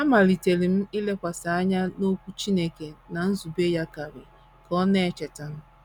“ Amalitere m ilekwasị anya n’Okwu Chineke na nzube ya karị, ” ka ọ na - echeta.